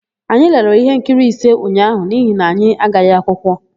Anyị lere íhénkiri ise ụnyaahụ n'ihi na anyị agaghị akwụkwọ.